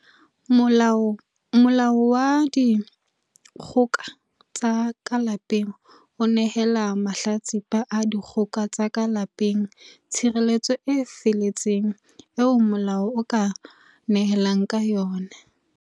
Molao wa Dikgoka tsa ka Lapeng o nehela mahla tsipa a dikgoka tsa ka lape ng tshireletso e feletseng eo molao o ka nehelang ka yona.